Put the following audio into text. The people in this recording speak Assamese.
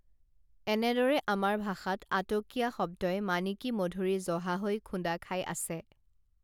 এনেদৰে আমাৰ ভাষাত আটকীয়া শব্দই মানিকী মধুৰী জহা হৈ খুন্দা খাই আছে